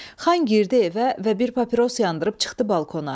Xan girdi evə və bir papiros yandırıb çıxdı balkona.